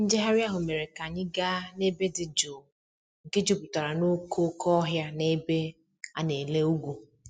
Njegharị ahụ mere ka anyị gaa n'ebe dị jụụ nke jupụtara n'okooko ohịa na ebe a na-ele ugwu.